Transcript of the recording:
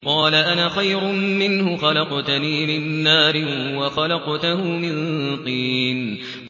قَالَ أَنَا خَيْرٌ مِّنْهُ ۖ خَلَقْتَنِي مِن نَّارٍ وَخَلَقْتَهُ مِن طِينٍ